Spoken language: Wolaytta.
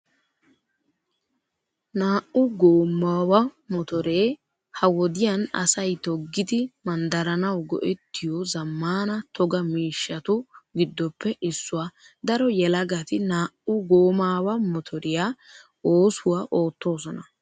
Naa'u goomaawa motoree ha wodiyan asay toggidi manddaranawu go'ettiyo zammaana toga miishshatu giddoppe issuwaa. Daro yelagati naa'u goomaawa motoriyaa oosuwaa oottoosona.